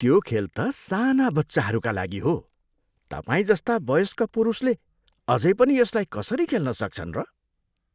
त्यो खेल त साना बच्चाहरूका लागि हो। तपाईँजस्ता वयस्क पुरुषले अझै पनि यसलाई कसरी खेल्न सक्छन् र?